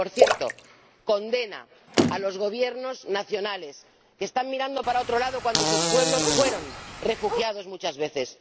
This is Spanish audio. Y, por cierto, condena a los Gobiernos nacionales que están mirando para otro lado cuando sus pueblos fueron refugiados muchas veces.